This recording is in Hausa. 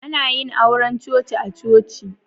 Ana yin auren coci a'coci.